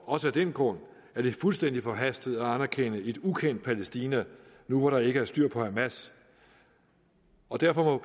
også af den grund er det fuldstændig forhastet at anerkende et ukendt palæstina nu hvor der ikke er styr på hamas og derfor må